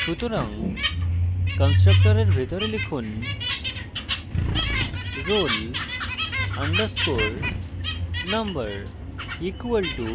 সুতরাং constructor ভিতরে লিখুন roll _ number equal to